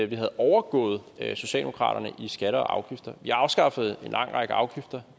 vi havde overgået socialdemokraterne i skatter og afgifter vi afskaffede en lang række afgifter